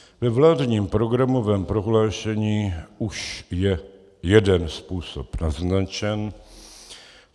Ve vládním programovém prohlášení už je jeden způsob naznačen.